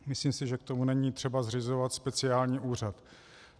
Myslím si, že k tomu není třeba zřizovat speciální úřad.